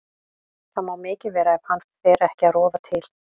Það má mikið vera ef hann fer ekki að rofa til.